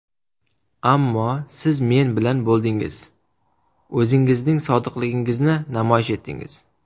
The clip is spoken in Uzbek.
Ammo siz men bilan bo‘ldingiz, o‘zingizning sodiqligingizni namoyish etdingiz.